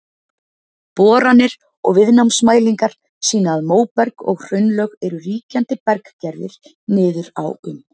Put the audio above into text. Boranir og viðnámsmælingar sýna að móberg og hraunlög eru ríkjandi berggerðir niður á um